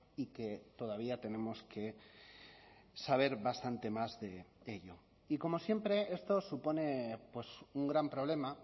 y que todavía tenemos que saber bastante más de ello y como siempre esto supone un gran problema